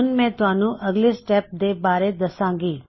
ਹੁਣ ਮੈ ਤੁਹਾਨੂੰ ਅਗਲੇ ਸਟੇੱਪਸ ਦੇ ਬਾਰੇ ਦੱਸਾਂਗਾ